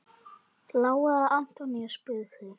Lára Antonía spurði.